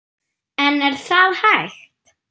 En er það hægt?